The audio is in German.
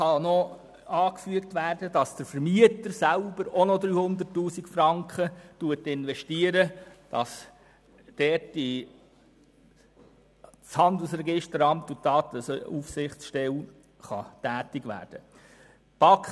Anzufügen ist, dass der Vermieter selber ebenfalls noch 300 000 Franken investiert, damit das Handelsregisteramt und die Datenaufsichtsstelle dort tätig werden können.